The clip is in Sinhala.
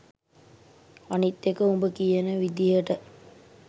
අනිත් එක උඹ කියන විදියට